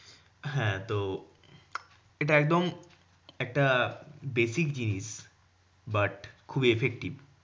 হ্যাঁ তো এটা একদম একটা basic জিনিস, but খুবই effective